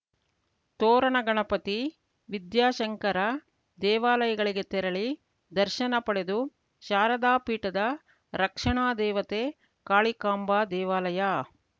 ತೋರಣಗಣಪತಿ ವಿದ್ಯಾಶಂಕರ ದೇವಾಲಯಗಳಿಗೆ ತೆರಳಿ ದರ್ಶನ ಪಡೆದು ಶಾರದಾ ಪೀಠದ ರಕ್ಷಣಾ ದೇವತೆ ಕಾಳಿಕಾಂಬಾ ದೇವಾಲಯ